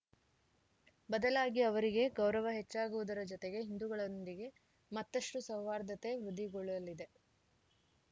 ಬದಲಾಗಿ ಅವರಿಗೆ ಗೌರವ ಹೆಚ್ಚಾಗುವುದರ ಜತೆಗೆ ಹಿಂದೂಗಳೊಂದಿಗೆ ಮತ್ತಷ್ಟುಸೌಹಾರ್ದತೆ ವೃದ್ಧಿಗೊಳ್ಳಲಿದೆ